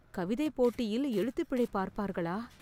கவிதைப் போட்டியில் எழுத்துப் பிழை பார்ப்பார்களா ?